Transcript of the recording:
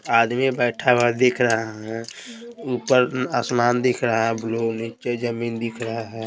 आदमी बैठा हुआ दिख रहा है ऊपर आसमान दिख रहा है ब्लू नीचे जमीन दिख रहा है।